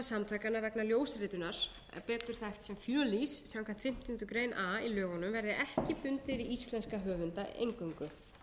rétthafasamtakanna vegna ljósritunar betur þekkt sem fjölís samkvæmt fimmtándu grein a í lögunum verði ekki bundið við íslenska höfunda eingöngu